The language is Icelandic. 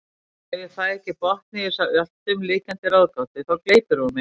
Ef ég fæ ekki botn í þessa alltumlykjandi ráðgátu þá gleypir hún mig.